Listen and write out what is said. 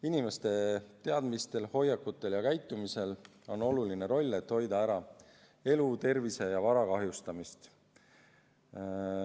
Inimeste teadmistel, hoiakutel ja käitumisel on oluline roll, et hoida ära elu, tervise ja vara kahjustamist.